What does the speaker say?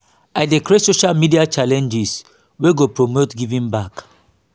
i dey create social media challenges wey go promote giving back.